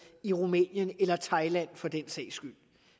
i rumænien eller thailand for den sags skyld